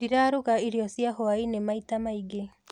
Ndĩraruga irio cia hwainĩ maita maingĩ.